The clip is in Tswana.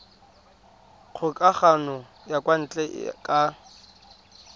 kgokagano ya kwa ntle ka